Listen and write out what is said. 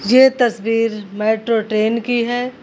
ये तस्वीर metro train की है।